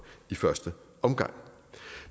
i første omgang